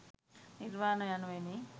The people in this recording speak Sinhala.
නිර්වාණ යනුවෙනි.